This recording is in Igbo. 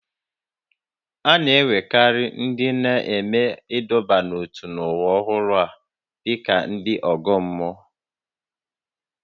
A na-ewerekarị ndị na-eme ịdọba n'ótú n'ụwa ọhụrụ a dị ka ndị ọgọ mmụọ